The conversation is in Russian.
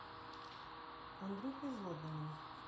андрюхой злобиным